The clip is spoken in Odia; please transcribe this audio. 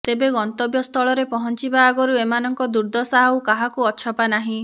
ତେବେ ଗନ୍ତବ୍ୟସ୍ଥଳରେ ପହଞ୍ଚିବା ଆଗରୁ ଏମାନଙ୍କ ଦୁର୍ଦ୍ଦଶା ଆଉ କାହାକୁ ଅଛପା ନାହିଁ